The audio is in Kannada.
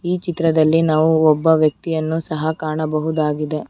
ಈ ಚಿತ್ರದಲ್ಲಿ ನಾವು ಒಬ್ಬ ವ್ಯಕ್ತಿಯನ್ನು ಸಹ ಕಾಣಬಹುದಾಗಿದೆ.